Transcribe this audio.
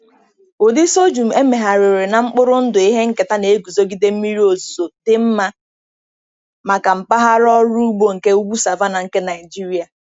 Ụdị sorghum emegharịrị na mkpụrụ ndụ ihe nketa na-eguzogide mmiri ozuzo, dị mma maka mpaghara ọrụ ugbo nke ugwu savanna nke Nigeria.